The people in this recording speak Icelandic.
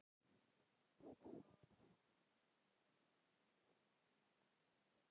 Hafa Íslendingar fengið slíkar upplýsingar?